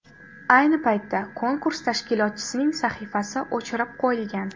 Ayni paytda konkurs tashkilotchisining sahifasi o‘chirib qo‘yilgan.